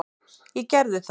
Ég gerði það.